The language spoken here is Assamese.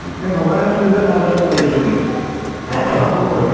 এই ভবাই নাছিলো যে তাত পেতত পোৱালী আছে বুলি। সৰু পোৱালী ।